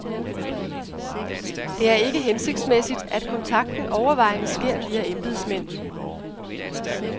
Det er ikke hensigtsmæssigt, at kontakten overvejende sker via embedsmænd.